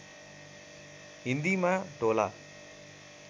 हिन्दीमा ढोला